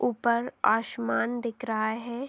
ऊपर आश्मान दिख रहा है।